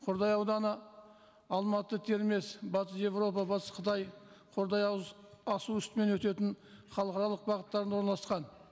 қордай ауданы алматы термез батыс еуропа батыс қытай қордай асу үстімен өтетін халықаралық бағыттарында орналасқан